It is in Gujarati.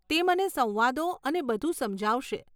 તે મને સંવાદો અને બધું સમજાવશે.